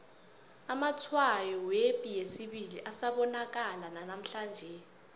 amatshwayo yepi yesibili asabonakala nanamhlanje